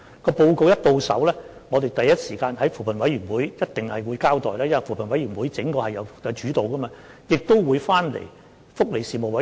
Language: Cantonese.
在收到報告後，我們必定會第一時間在扶貧委員會作交代，因為是扶貧委員會作主導的，也會提交福利事務委員會。